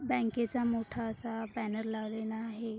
बँके चा मोठा असा बॅनेर लावलेला आहे.